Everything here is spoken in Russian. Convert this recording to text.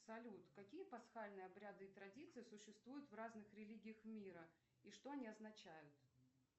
салют какие пасхальные обряды и традиции существуют в разных религиях мира и что они означают